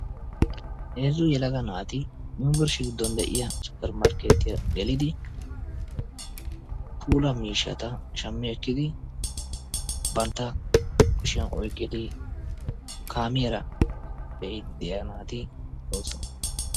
Heezzu yelaga naati Yuunbburshshiyaa giddon de'iya Suppermsrketiya gelidi puula miishshata shammi ekkidi bantta kushiyan oyqqidi kaamiyaara biide deiya naati doosona.